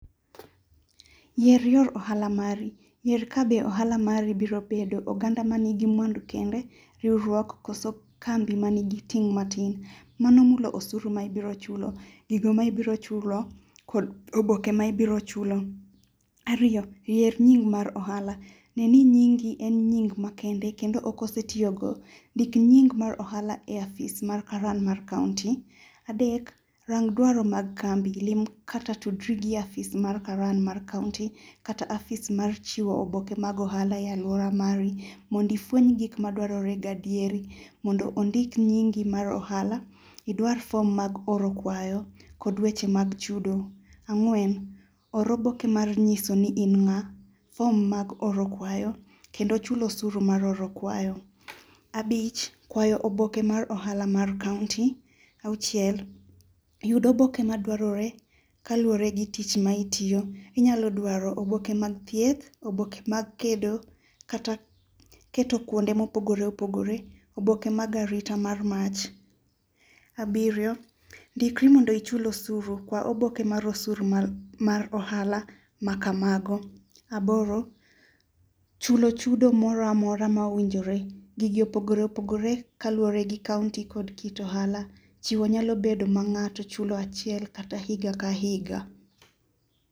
Yier yor ohala mari. Yier ka be ohala mari biro bedo oganda manigi mwandu kende, riwruok, koso kambi manigi ting' matin. Mano mulo osuru ma ibiro chulo, gigo ma ibiro chulo, kod oboke ma ibiro chulo. Ariyo. Yier nying mar ohala. Ng'e ni nyingi en nying makende kendo okosetiyogo. Ndik nyingi mar ohala e ofis mar karan mar kaunti. Adek. Rang dwaro mag kambi. Lim kata tudri gi ofis mar karan mar kaunti kata ofis mar chiwo oboke mag ohala e aluora mari mond ifweny gik madwarore gadieri mondo ondik nyingi mar ohala. Idwar form mag oro kwayo kod weche mag chudo. Ang'wen. Or oboke mar nyiso ni in ng'a. Form mag oro kwayo kendo chulo usuro mar oro kwayo. Abich. Kwayo oboke mar ohala mar kaunti. Auchiel. Yud oboke madwarore kaluwore gi tich ma itiyo. Inyalo dwaro oboke mag thieth, obeke mag kedo, kata keto kuonde mopogore opogore. Oboke mag arita mar mach. Abiryo. Ndikri mondo ichul osuru. Kwa oboke mar usuru mar ohala ma kamago. Aboro. Chulo chudo moro amora mowinjore. Gigi opogore opogore ka luwore gi kaunti kod kit ohala. Chiwo nyalo bedo ma ng'ato chulo achiel kata higa ka higa.